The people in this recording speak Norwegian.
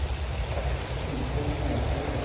Øistein Nesheim